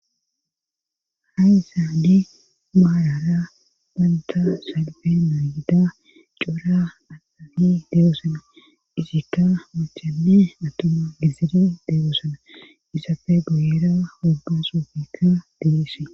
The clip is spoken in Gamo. Ha isaadi maarara banta salbemaa yida cora atahi deegoosana isikka machani atuma gizere deegoosana isafe goyera gabbasufikka dilise.